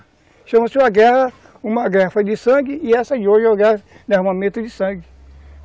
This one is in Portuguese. Chama-se uma guerra, uma guerra foi de sangue e essa de hoje é uma guerra de armamento de sangue.